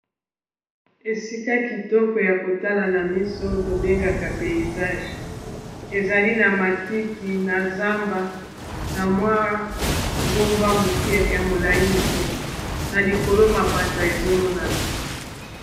Esika kitoko ya kotala na miso tobengaka paysage ezali na matiti na zamba na mwa ngomba muke ya molai muke na likolo mapata ezomonana.